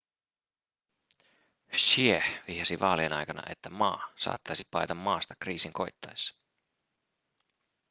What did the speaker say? hsieh vihjasi vaalien aikana että ma saattaisi paeta maasta kriisin koittaessa